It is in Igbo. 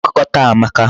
Akụkọ taa amaka.